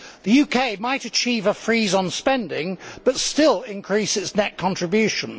The UK might achieve a freeze on spending but still increase its net contribution.